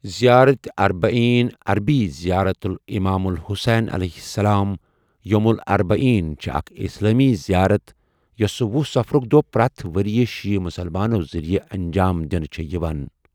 زیارت اربعین ، عربی زيارة الإمام الحسين عليہ السلام ، يوم الأربعين، چھے اَکھ اسلامی زیارت یوسہ ۄہُ صفرک دوہ پرتھ وریہ شیعہ مسلمانو ذریہ انجام دنہ چھِ یوان۔